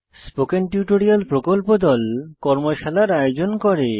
spoken tutorial প্রকল্প দল কর্মশালার আয়োজন করে